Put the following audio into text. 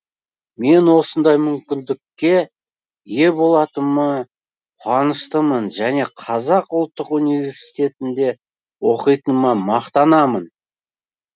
мен осындай мүмкіндікке ие болатыма құаныштымын және қазақ ұлттық университетінде оқитыныма мақтанамын